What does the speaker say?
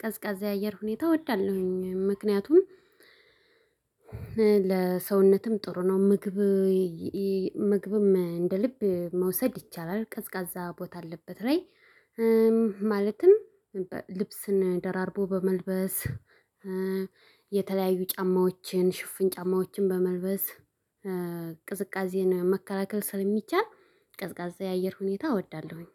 ቀዝቃዛ የአየር ሁኔታ እወዳለሁኝ ምክንያቱም ለሰውነትም ጥሩ ነው። ምግብ ምግብም እንደ ልብ መውሰድ ይቻላል ቀዝቃዛ ቦታ አለበት ላይ። ማለትም ልብስን ደራርቦ በመልበስ የተለያዩ ጫማዎችን ሽፍን ጫማዎችን በመልበስ ቅዝቃዜን መከላከል ስለሚቻል ቅዝቃዛ የአየር ሁኔታ እወዳለሁኝ